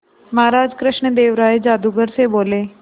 महाराज कृष्णदेव राय जादूगर से बोले